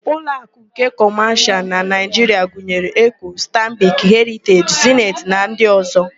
Uloakụ nke Kọmashịal na Naịjiria gụnyere: Eko, Stanbik, Heriteji, Zeniti na ndị ọ̀zọ́.